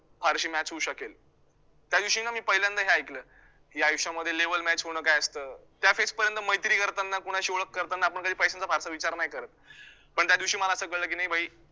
फारशी match होऊ शकेल, त्यादिवशी ना मी पहिल्यांदा हे ऐकलं की आयुष्यामध्ये level match होणं काय असतं त्या phase पर्यंत मैत्री करताना कोणाशी ओळख करताना आपण कधी पैशांचा फारसा विचार नाही करतं पण त्यादिवशी मला असं कळलं की नाही भाई